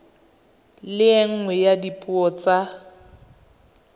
le nngwe ya dipuo tsa